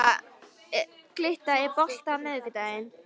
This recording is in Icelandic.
Glytta, er bolti á miðvikudaginn?